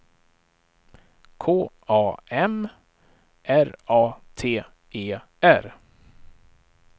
K A M R A T E R